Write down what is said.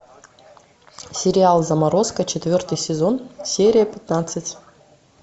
сериал заморозка четвертый сезон серия пятнадцать